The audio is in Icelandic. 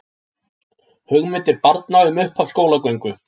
Hugmyndir barna um upphaf skólagöngu